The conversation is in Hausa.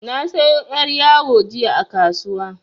Na sayo yar' yawo jiya a kasuwa.